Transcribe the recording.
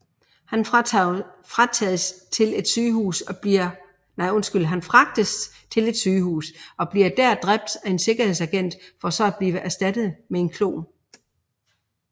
Han fragtes til et sygehus og bliver der dræbt af en sikkerhedsagent for så at blive erstattet med en klon